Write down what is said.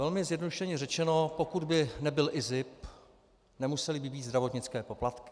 Velmi zjednodušeně řečeno, pokud by nebyl IZIP, nemusely by být zdravotnické poplatky.